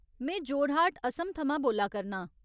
में जोरहाट, असम थमां बोल्ला करनां ।